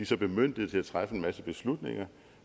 så bemyndiget til at træffe en masse beslutninger